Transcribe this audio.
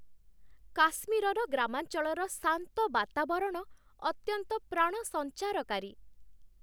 କାଶ୍ମୀରର ଗ୍ରାମାଞ୍ଚଳର ଶାନ୍ତ ବାତାବରଣ ଅତ୍ୟନ୍ତ ପ୍ରାଣସଞ୍ଚାରକାରୀ।